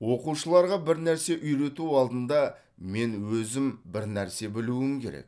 оқушыларға бір нәрсе үйрету алдында мен өзім бір нәрсе білуім керек